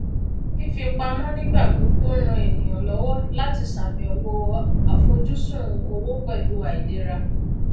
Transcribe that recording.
fífipamọ nígbà gbogbo ń ràn ènìyàn lọwọ láti ṣàbẹwò àfojúsùn owó pẹlú àìlera